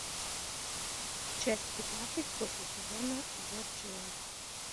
часть пятнадцать после сезона борджиа